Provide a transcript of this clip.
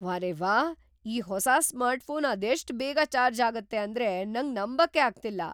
ವಾರೆವ್ಹಾ, ಈ ಹೊಸ ಸ್ಮಾರ್ಟ್‌ಫೋನ್ ಅದೆಷ್ಟ್ ಬೇಗ ಚಾರ್ಜ್ ಆಗತ್ತೆ ಅಂದ್ರೆ ನಂಗ್ ನಂಬಕ್ಕೇ ಆಗ್ತಿಲ್ಲ!